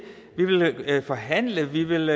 vi vil forhandle vi vil